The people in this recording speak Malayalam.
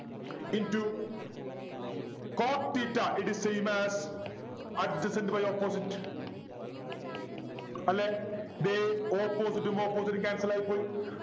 into Cot theta it is same as adjacent by opposite അല്ലെ ദേ opposite ഉം opposite ഉം cancel ആയിപ്പോയി